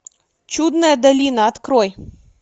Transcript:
чудная долина открой